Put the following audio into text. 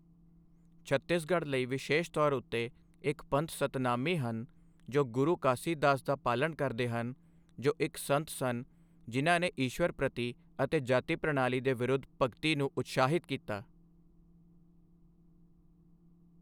ਛੱਤੀਸਗੜ੍ਹ ਲਈ ਵਿਸ਼ੇਸ਼ ਤੌਰ ਉੱਤੇ ਇੱਕ ਪੰਥ ਸਤਨਾਮੀ ਹਨ, ਜੋ ਗੁਰੂ ਘਾਸੀਦਾਸ ਦਾ ਪਾਲਣ ਕਰਦੇ ਹਨ, ਜੋ ਇੱਕ ਸੰਤ ਸਨ ਜਿਨ੍ਹਾਂ ਨੇ ਈਸ਼ਵਰ ਪ੍ਰਤੀ ਅਤੇ ਜਾਤੀ ਪ੍ਰਣਾਲੀ ਦੇ ਵਿਰੁੱਧ ਭਗਤੀ ਨੂੰ ਉਤਸ਼ਾਹਿਤ ਕੀਤਾ।